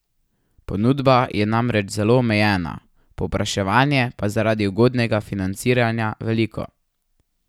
Ponudba je namreč zelo omejena, povpraševanje pa zaradi ugodnega financiranja veliko.